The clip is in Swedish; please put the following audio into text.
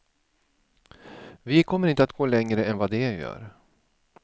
Vi kommer inte att gå längre än vad de gör.